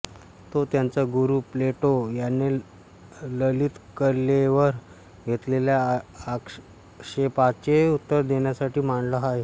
तो त्याचा गुरु प्लेटो याने ललित कलेवर घेतलेल्या आक्षेपाचे उत्तर देण्यासाठी मांडला आहे